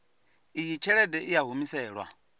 iyi tshelede i a humiselwa